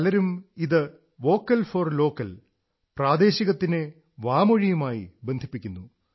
പലരും ഇത് vocal for local പ്രാദേശികത്തിനെ വാമൊഴിയുമായി ബന്ധിപ്പിക്കുന്നു